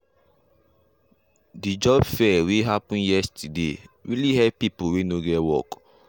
the job fair way happen yesterday really help people way no get work